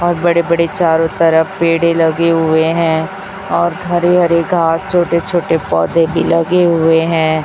और बड़े बड़े चारों तरफ पेड़े लगे हुए हैं और हरे हरे घास छोटे छोटे पौधे भी लगे हुए हैं।